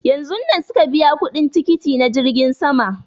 Yanzun nan suka biya kuɗin tikiti na jirgin sama